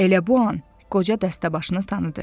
Elə bu an qoca dəstəbaşını tanıdı.